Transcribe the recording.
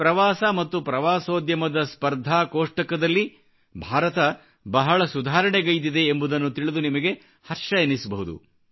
ಪ್ರವಾಸ ಮತ್ತು ಪ್ರವಾಸೋದ್ಯಮದ ಸ್ಪರ್ಧಾ ಕೋಷ್ಟಕದಲ್ಲಿ ಭಾರತ ಬಹಳ ಸುಧಾರಣೆಗೈದಿದೆ ಎಂಬುದನ್ನು ತಿಳಿದು ನಿಮಗೆ ಹರ್ಷವೆನ್ನಿಸಬಹುದು